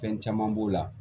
Fɛn caman b'o la